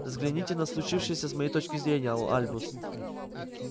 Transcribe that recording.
взгляните на случившееся с моей точки зрения а альбус